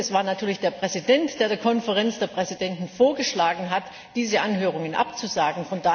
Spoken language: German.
Und es war natürlich der Präsident, der der Konferenz der Präsidenten vorgeschlagen hat, diese Anhörungen abzusagen.